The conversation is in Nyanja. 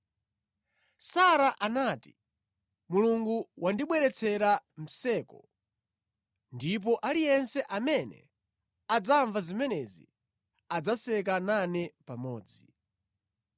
Sara anati, “Mulungu wandibweretsera mseko, ndipo aliyense amene adzamva zimenezi adzaseka nane pamodzi.”